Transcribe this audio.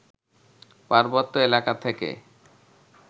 পার্বত্য এলাকা থেকে